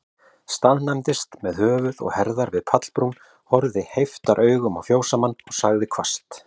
Staðnæmdist með höfuð og herðar við pallbrún, horfði heiftaraugum á fjósamann, og sagði hvasst